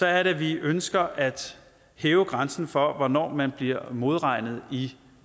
er at vi ønsker at hæve grænsen for hvornår man bliver modregnet i